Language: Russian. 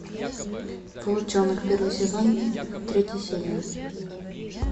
волчонок первый сезон третья серия